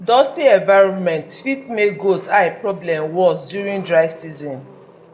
dusty environment fit make goat eye problem worse during dry season